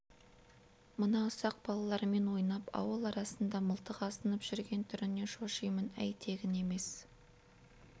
мына ұсақ балалармен ойнап ауыл арасында мылтық асынып жүрген түрінен шошимын әй тегін емес